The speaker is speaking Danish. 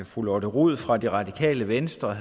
fru lotte rod fra det radikale venstre